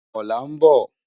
Òlá n bò